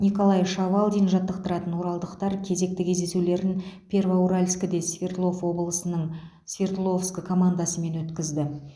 николай шавалдин жаттықтыратын оралдықтар кезекті кездесулерін первоуральскіде свердлов облысының свердловск командасымен өткізді